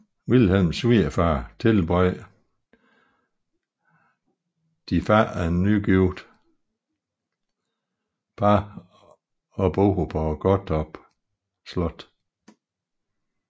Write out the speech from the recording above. Vilhelms svigerfar tilbød det fattige nygifte par at bo på Gottorp Slot